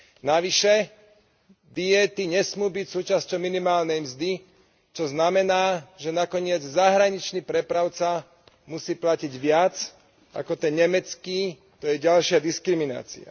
Navyše diéty nesmú byť súčasťou minimálnej mzdy, čo znamená, že nakoniec zahraničný prepravca musí platiť viac ako ten nemecký to je ďalšia diskriminácia.